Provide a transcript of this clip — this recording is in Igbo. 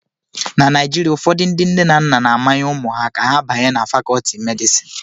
Na Naijiria, ụfọdụ ndị nne na nna na-amanye ụmụ ha ka ha banye na Fakọọti medịsịn